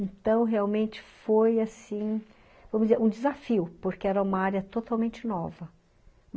Então, realmente foi assim, vamos dizer, um desafio, porque era uma área totalmente nova.